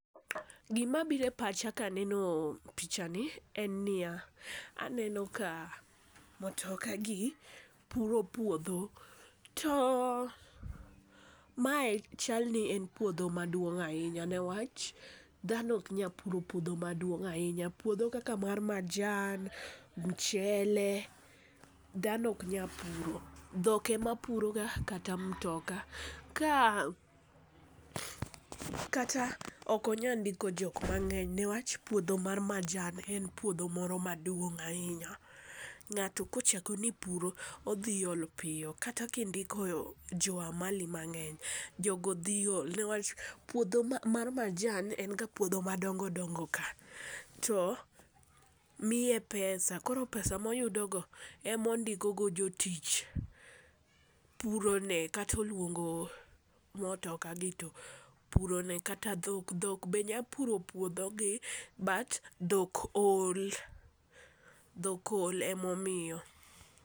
Gima biro e pacha kaneno picha ni en niya, aneno ka mutoka gi puro puodho to mae chalni en puodho maduong'. Dhano ok nyal puro puodho maduong' ahinya, puodho kaka mar majan, muchele dhano ok nyal puro. Dhok ema puroga kata mutoka. Ka kata ok onyal ndiko jok mang'eny newach puodho mar majan en puodho moro maduong' ahinya. Ng'ato kochako ni puro, odhi ol piyo mkata ka indiko jo amali mang'eny, jogo dhi ol ne wach puodho mar majan en ga puodho madongo dongo ka, to miye pesa koro pesa moyudogo ema ondiko go jotich purone kata oluongo mutoka gi to purone. Kata dhok, dhok be nyalo puro puodhogi but dhok ol, dhok ol emomiyo.